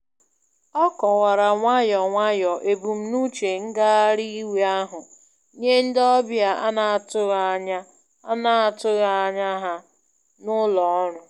O kọwara nwayọ nwayọ ebumnuche ngagharị iwe ahụ nye ndị ọbịa ana-atụghị anya ana-atụghị anya ha na ụlọ ọrụ.